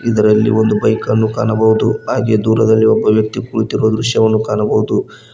ಇದರಲ್ಲಿ ಒಂದು ಬೈಕನ್ನು ಕಾಣಬಹುದು ಹಾಗೆ ದೂರದಲ್ಲಿ ಒಬ್ಬ ವ್ಯಕ್ತಿ ಕುಳಿತಿರುವ ದೃಶ್ಯವನ್ನು ಕಾಣಬಹುದು.